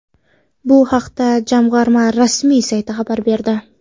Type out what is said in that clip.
Bu haqda jamg‘arma rasmiy sayti xabar berdi .